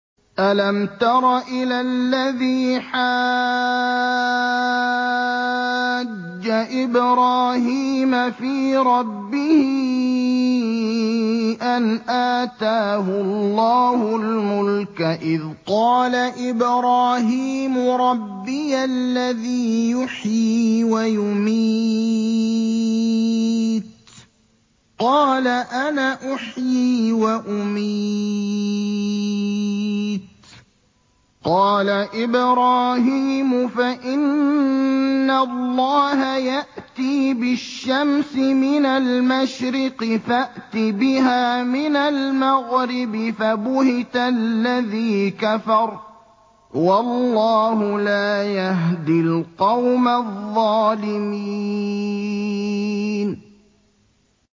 أَلَمْ تَرَ إِلَى الَّذِي حَاجَّ إِبْرَاهِيمَ فِي رَبِّهِ أَنْ آتَاهُ اللَّهُ الْمُلْكَ إِذْ قَالَ إِبْرَاهِيمُ رَبِّيَ الَّذِي يُحْيِي وَيُمِيتُ قَالَ أَنَا أُحْيِي وَأُمِيتُ ۖ قَالَ إِبْرَاهِيمُ فَإِنَّ اللَّهَ يَأْتِي بِالشَّمْسِ مِنَ الْمَشْرِقِ فَأْتِ بِهَا مِنَ الْمَغْرِبِ فَبُهِتَ الَّذِي كَفَرَ ۗ وَاللَّهُ لَا يَهْدِي الْقَوْمَ الظَّالِمِينَ